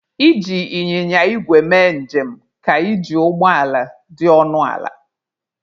Iji Ịnyịnya igwe mee njem ka iji ụgbọ ala dị ọnụ ala.